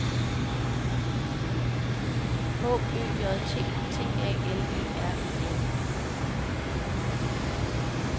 H Ø J T T A L E R E N